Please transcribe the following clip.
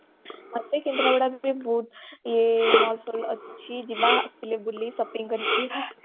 ମତେ କେନ୍ଦ୍ରାପଡାରେ ବି ବହୁତ ଇଏ mall ଫଲ ଅଛି ଯିବା ଆସିଲେ ବୁଲି ଶପିଂ କରିବା